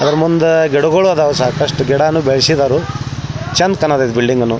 ಆದ್ರಾ ಮುಂದೆ ಗಿಡಗಳು ಇದ್ದವು ಸಾಕಷ್ಟು ಗಿಡಗಳು ಬೆಳ್ಸಿದಾರು ಚಂದ್ ಕಾಂತೈತ್ ಇದ್ ಬಿಲ್ಡಿಂಗನು .